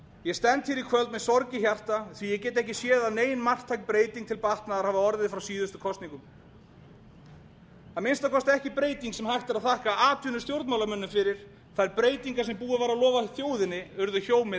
ég stend hér í kvöld með sorg í hjarta því að ég get ekki séð að nein marktæk breyting til batnaðar hafi orðið frá síðustu kosningum að minnsta kosti ekki breyting sem hægt er að þakka atvinnustjórnmálamönnum fyrir þær breytingar sem búið var að lofa þjóðinni urðu hjómið